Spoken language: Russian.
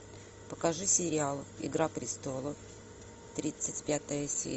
покажи сериал игра престолов тридцать пятая серия